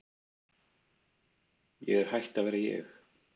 Ég er hætt að vera ég.